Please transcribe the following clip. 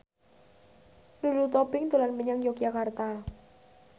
Lulu Tobing dolan menyang Yogyakarta